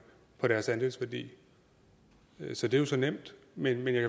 på deres andelsværdi så det er jo så nemt men jeg